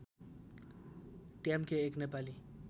ट्याम्के एक नेपाली